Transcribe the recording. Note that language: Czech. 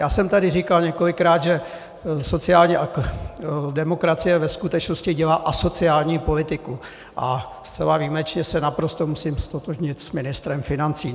Já jsem tady říkal několikrát, že sociální demokracie ve skutečnosti dělá asociální politiku, a zcela výjimečně se naprosto musím ztotožnit s ministrem financí.